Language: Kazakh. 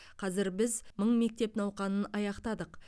қазір біз мың мектеп науқанын аяқтадық